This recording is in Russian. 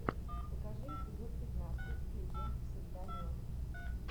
покажи эпизод пятнадцать клиент всегда мертв